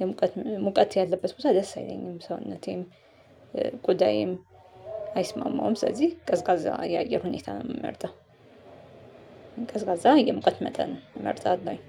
የሙቀት ሙቀት ያለበት ቦታ ደስ አይለኝም። ሰውነቴም ቁዳዬም አይስማማውም። ስለዚህ ቀዝቃዛ የአየር ሁኔታ ነው እምመርጠው። ቀዝቃዛ የሙቀት መጠን እመርጣለሁኝ